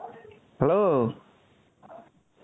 hello.